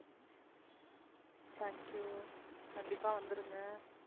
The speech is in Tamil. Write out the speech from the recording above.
thank you. கண்டிப்பா வந்துருங்க?